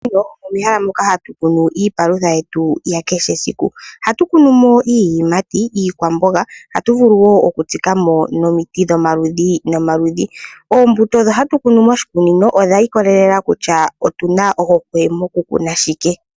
Moshikunino omehela moka hatukunu iipalutha yetu yakehe esiku, oha tukunumo iiyimati, iikwambonga, oha tuvulu wo oku tsikamo nomiti dhomaludhi nomaludhi , ombuto dhi hatukunu moshikunino odha ikolelela kutya otuna ohokwe mokukutha shike.